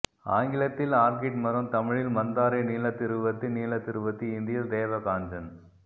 ஆங்கிலத்தில் ஆர்கிட் மரம் தமிழில் மந்தாரை நீலத்திருவத்தி நீலத்திருவத்தி இந்தியில் தேவகாஞ்சன்